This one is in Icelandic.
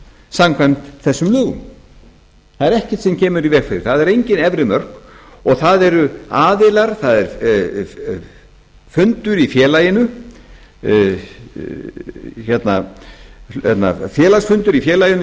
samkvæmt þessum lögum það er ekkert sem kemur í veg fyrir það það eru engin efri mörk og það eru aðilar það er félagsfundur í félaginu